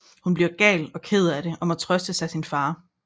Hun bliver gal og ked af det og må trøstes af sin far